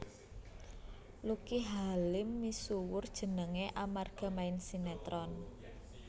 Lucky Halim misuwur jenengé amarga main sinetron